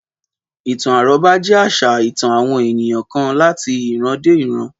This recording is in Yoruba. Ìtàn àrọ́bá jé àṣà ìtàn àwọn ènìyàn kan láti ìran dé ìran